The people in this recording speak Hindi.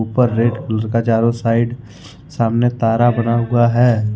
ऊपर रेड भुज का चारों साइड सामने तारा बना हुआ है।